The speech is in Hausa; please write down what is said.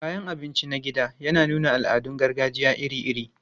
Kayan abinci na gida yana nuna al'adun gargajiya iri-iri.